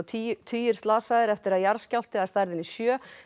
tugir tugir slasaðir eftir að jarðskjálfti að stærðinni sjö